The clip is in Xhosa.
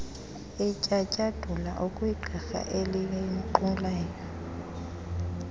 etyatyadula okwegqirha elinqulayo